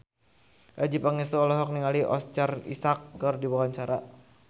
Adjie Pangestu olohok ningali Oscar Isaac keur diwawancara